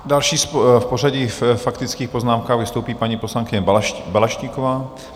Další v pořadí faktických poznámek vystoupí paní poslankyně Balaštíková.